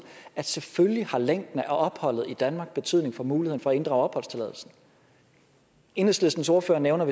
at selvfølgelig har længden af opholdet i danmark betydning for muligheden for at inddrage opholdstilladelsen enhedslistens ordfører nævner